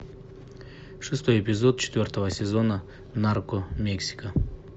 шестой эпизод четвертого сезона нарко мексика